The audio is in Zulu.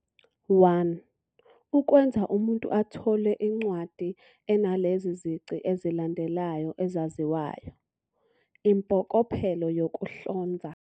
1. ukwenza umuntu athole incwadi enalezi zici ezilandelayo ezaziwayo, impokophelo yokuhlonza.